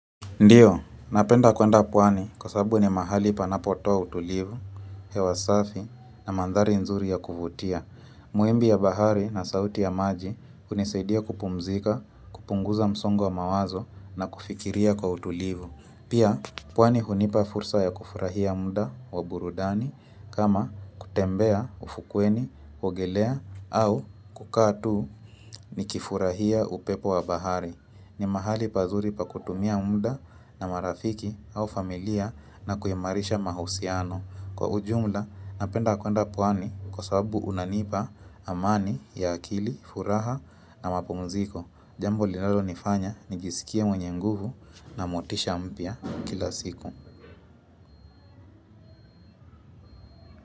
Ndiyo, napenda kuenda pwani kwa sababu ni mahali panapo toa utulivu, hewa safi na mandhari nzuri ya kuvutia. Muimbi ya bahari na sauti ya maji hunisaidia kupumzika, kupunguza msongo wa mawazo na kufikiria kwa utulivu. Pia, pwani hunipa fursa ya kufurahia muda wa burudani kama kutembea ufukweni, kuogelea au kukaa tu nikifurahia upepo wa bahari. Ni mahali pazuri pa kutumia muda na marafiki au familia na kuimarisha mahusiano. Kwa ujumla, napenda kwenda pwani kwa sababu unanipa amani ya akili, furaha na mapumziko. Jambo linalonifanya, nijisikia mwenye nguvu na motisha mpya kila siku.